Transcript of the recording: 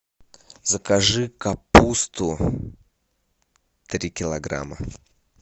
закажи капусту три килограмма